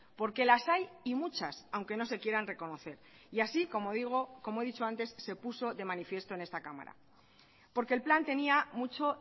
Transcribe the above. porque las hay y muchas aunque no se quieran reconocer y así como digo como he dicho antes se puso de manifiesto en esta cámara porque el plan tenía mucho